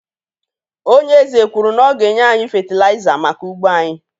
Ònye eze kwuru na ọ ga-enye anyị fétilaiza maka ugbo anyị